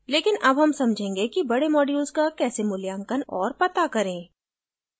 लेकिन अब हम समझेंगे कि बडे modules का कैसे मूल्यांकन और पता करें